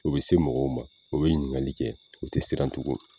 O be se mɔgɔw ma o be ɲininkali kɛ o te siran tugun